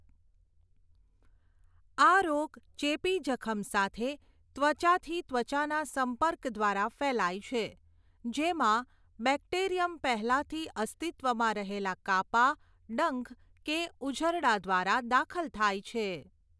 આ રોગ ચેપી જખમ સાથે ત્વચાથી ત્વચાના સંપર્ક દ્વારા ફેલાય છે, જેમાં બેક્ટેરિયમ પહેલાંથી અસ્તિત્વમાં રહેલા કાપા, ડંખ, કે ઉઝરડા દ્વારા દાખલ થાય છે.